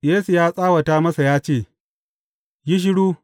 Yesu ya tsawata masa ya ce, Yi shiru!